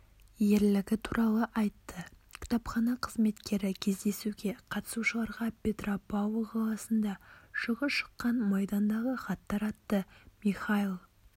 ерлігі туралы айтты кітапхана қызметкері кездесуге қатысушыларға петропавл қаласында жылы шыққан майдандағы хаттар атты михаил